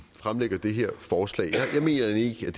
fremsætter det her forslag jeg mener egentlig